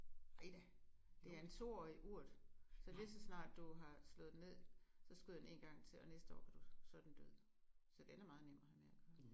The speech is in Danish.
Nej da. Det er en stor urt. Så lige så snart du har slået den ned så skyder den én gang til og næste år kan du så er den død. Så den er meget nem at have med at gøre